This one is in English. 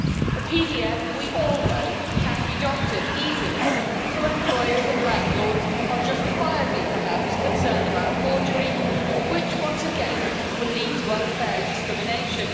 A PDF, we all know, can be doctored easily, so employers and landlords are, justifiably perhaps, concerned about forgery, which, once again, will lead to unfair discrimination.